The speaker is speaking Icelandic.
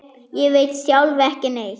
Ég veit sjálf ekki neitt.